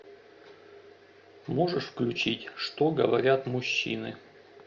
можешь включить что говорят мужчины